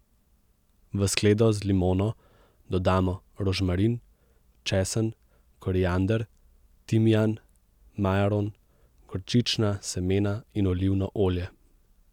V skledo z limono dodamo rožmarin, česen, koriander, timijan, majaron, gorčična semena in olivno olje.